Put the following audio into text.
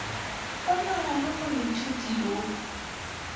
go na le moithuti yo